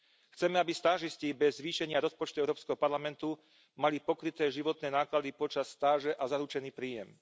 Chceme, aby stážisti bez zvýšenia rozpočtu Európskeho parlamentu mali pokryté životné náklady počas stáže a zaručený príjem.